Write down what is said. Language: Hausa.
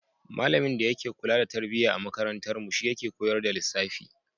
Malamin da yake kula da tarbiyya a makarantarmu shi yake koyar da lissafi.